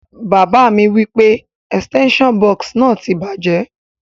Bàbá mi wipe extension box náà ti bàjẹ́